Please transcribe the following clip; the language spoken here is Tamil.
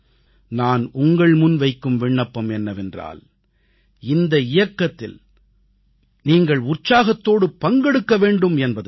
நான் உங்கள்முன் வைக்கும் விண்ணப்பம் என்னவென்றால் இந்த இயக்கத்தில் நீங்கள் உற்சாகத்தோடு பங்கெடுக்க வேண்டும் என்பது தான்